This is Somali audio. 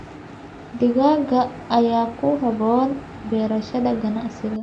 Digaagga ayaa ku habboon beerashada ganacsiga.